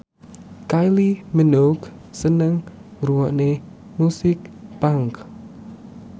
Kylie Minogue seneng ngrungokne musik punk